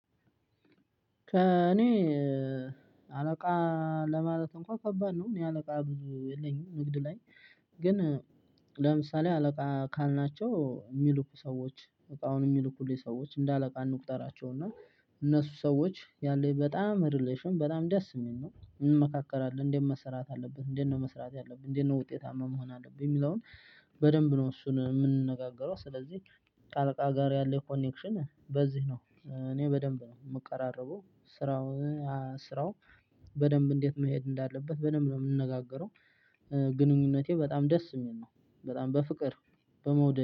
ከእኔ አለቃ ለማለት እንኳን ከባድ ነው። እኔ አለቃ ብዙ የለኝም ንግድ ላይ። ግን ለምሳሌ አለቃ ካልናቸው የሚልኩ ሰዎች እቃውን የሚልኩልኝ ሰዎች እንደ አለቃ እንቁጠራቸው እና እነሱ ሰዎች ያለኝ በጣም ሪሌሽን በጣም ደስ የሚል ነው። እንመካከራለን እንዴት መስራት አለብን እንዴት ነው መስራት ያለብን እንዴት ነው ውጤታማ መሆን አለብኝ? የሚለውን በደንብ ነው። እሱን የምንነጋገረው ስለዚህ ከአለቃ ጋር ያለኝ ኮኔክሽን በዚህ ነው። እኔ በደንብ ነው የምቀራረበው። ስራው ስራው በደንብ እንዴት መሄድ እንዳለበት በደንብ ነው የምንነጋገረው። ግንኙነቴ በጣም ደስ የሚል ነው። በጣም በፍቅር በመውደድ